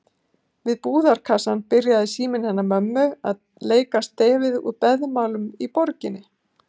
Við búðarkassann byrjaði síminn hennar mömmu að leika stefið úr Beðmálum úr borginni.